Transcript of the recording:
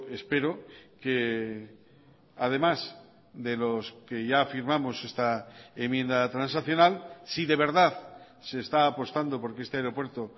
espero que además de los que ya firmamos esta enmienda transaccional si de verdad se está apostando por que este aeropuerto